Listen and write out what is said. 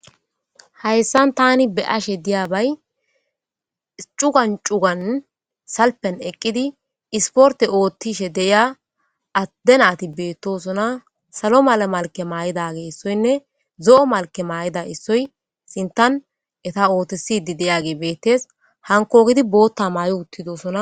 Hayssan taani be'ashe diyabay cugan cugan salpiyan eqqidi isportte oottishe deyiya adde naati beetosona. salo mala malkiya maayidage issoynne zo'o malkiya maayida issoy sinthan eta ootiside diyage beettes hankogeti booththa maayi uththidosona.